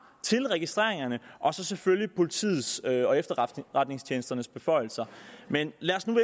til registreringerne og selvfølgelig politiets og efterretningstjenesternes beføjelser men lad os nu